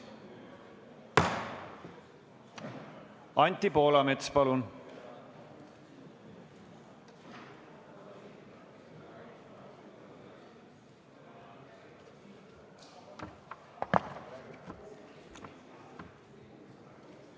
Anti Poolamets, palun!